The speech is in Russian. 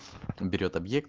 берет объект